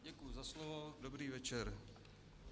Děkuji za slovo, dobrý večer.